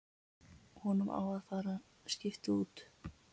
Honum á að skipta út.